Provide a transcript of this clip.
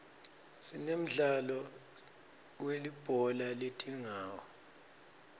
sinemdzalo welibhola letingawo